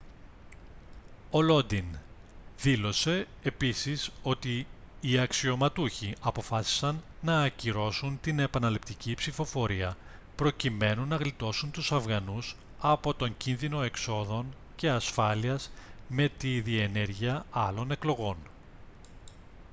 ο lodin δήλωσε επίσης ότι οι αξιωματούχοι αποφάσισαν να ακυρώσουν την επαναληπτική ψηφοφορία προκειμένου να γλιτώσουν τους αφγανούς από τον κίνδυνο εξόδων και ασφάλειας με τη διενέργεια άλλων εκλογών